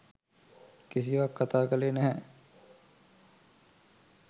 කිසිවක්‌ කතා කළේ නැහැ.